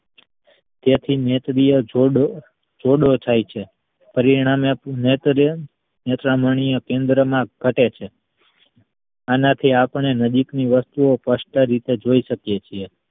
તેથી નેત્રીય જોડે જોડો ચાય છે પરિણામે નેત્ર રાચમાંનીય કેન્દ્ર માં ઘટે છે આનાથી આપડે નજીક ની વસ્તુ ઓ સ્પષ્ટ રીતે જોઈ શકીયે છીએ.